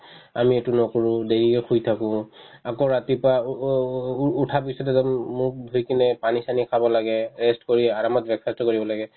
আমি এইটো নকৰো দেৰিলে শুই থাকো আকৌ ৰাতিপুৱা উ~ উ~ উ~ উঠাৰ পিছতে জানো মুখ ধুই কিনে পানী-চানী খাব লাগে rest কৰি আৰামত breakfast ও কৰিব লাগে